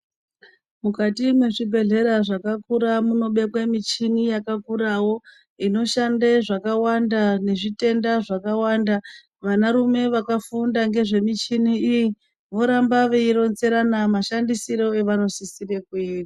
Mukati mwezvibhehlera zvakakura munobekwe michini yakakurawo inoshande zvakawanda nezvitenda zvakawanda. Vanarume vakafunda ngezvemichini iyi voramba veironzerana mashandisiro avanosisire kui.